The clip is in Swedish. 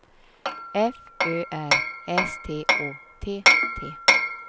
F Ö R S T Å T T